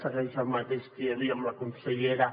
segueix el mateix que hi havia amb la consellera